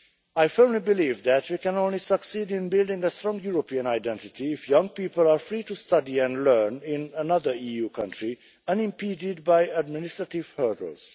I firmly believe that we can only succeed in building a strong European identity if young people are free to study and learn in another EU country, unimpeded by administrative hurdles.